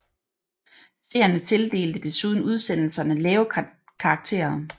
Seerne tildelte desuden udsendelserne lave karakterer